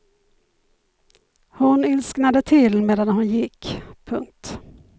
Hon ilsknade till medan hon gick. punkt